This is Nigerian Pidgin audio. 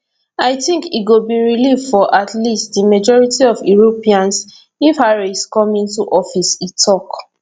i tink e go be relief for at least di majority of europeans if harris come into office e tok